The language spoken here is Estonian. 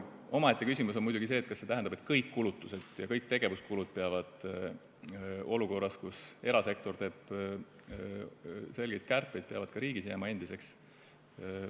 Omaette küsimus on muidugi see, kas see tähendab, et kõik kulutused ja kõik tegevuskulud peavad olukorras, kus erasektor teeb selgeid kärpeid, ka riigis jääma endiseks.